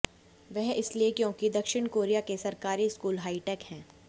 वह इसलिए क्योंकि दक्षिण कोरिया के सरकारी स्कूल हाईटेक हैं